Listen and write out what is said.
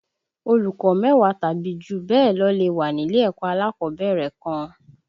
Olùkó mẹ́wàá tàbí jù bẹ́ẹ̀ lọ lè wá nílé ẹ̀kọ́ alákọ̀ọ́bẹ̀rẹ̀ kan